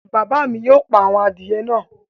Bàbá mi yóò pa àwọn adìyẹ náà